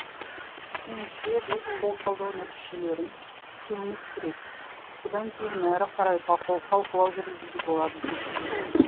меніңше біз сол талдау нәтижелерін күтуіміз керек содан кейін әрі қарай талқылау жүргізуге болады деді ол